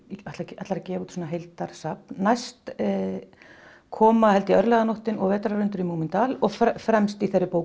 ætlar að gefa út svona heildarsafn næst koma held ég örlaganóttin og Vetrarundur í Múmíndal og fremst í þeirri bók